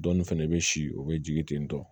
Dɔɔnin fɛnɛ be si o be jigin ten tɔn